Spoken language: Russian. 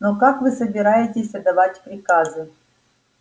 но как вы собираетесь отдавать приказы